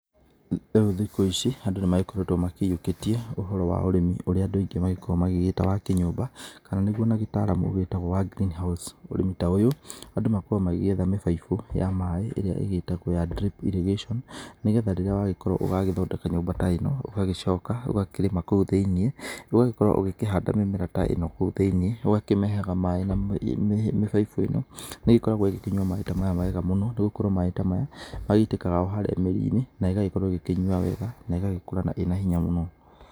Rĩu thikũ ici andũ nĩ magĩkoretwo maiyũkĩtie ũhoro wa ũrĩmi ũrĩa andũ aingĩ magĩkoragwo magĩgĩta wa kinyũmba kana nĩgũo nagĩtaramu wĩtagwo wa green house, ũrĩmi ta ũyũ andũ ma drip irrigation, nĩgetha rĩrĩa wagĩkorwo ũgagĩthondeka nyũmba ta ĩno ũgagĩcoka ũgakĩrĩma kũu thĩiniĩ, ũgagĩkorwo ũgakĩhanda mĩmera ta ĩno kũu thĩiniĩ, ũgakĩmĩheaga maĩ na mĩbaibũ ĩno, nĩ ĩgĩkoragwo ĩkĩnyua maĩ ta maya wega mũno, nĩ gũkorwo maĩ ta maya magĩitĩkaga o harĩa mĩri-inĩ na igagĩkorwo ikĩnyua wega na igagĩkũra ĩna hinya mũno.